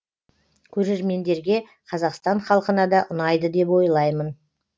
көрермендерге қазақстан халқына да ұнайды деп ойлаймын